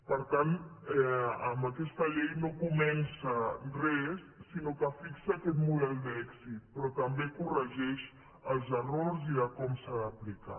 per tant amb aquesta llei no comença res sinó que fixa aquest model d’èxit però també corregeix els errors i de com s’ha d’aplicar